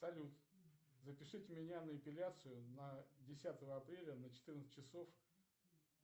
салют запишите меня на эпиляцию на десятое апреля на четырнадцать часов